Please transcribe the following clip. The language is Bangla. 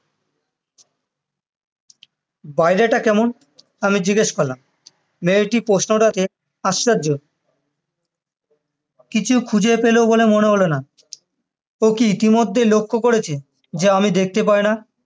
বাইরেটা কেমন আমি জিজ্ঞেস করলাম মেয়েটি প্রশ্নটাকে হাস্সাজ্জ কিছু খুঁজে পেলো বলে মনে হলো না ও কি ইতিমধ্যেই লক্ষ করেছে যে আমি দেখতে পাইনা